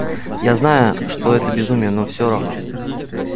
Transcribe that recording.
я знаю что это безумие но всё равно